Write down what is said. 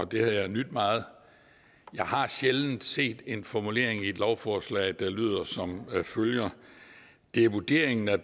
det har jeg nydt meget jeg har sjældent set en formulering i et lovforslag der lyder som følger det er vurderingen at